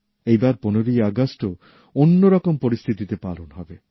এইবার ১৫ ই আগস্টও অন্য রকম পরিস্থিতিতে পালন হবে